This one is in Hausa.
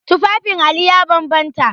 Tufafin Ali ya bambanta.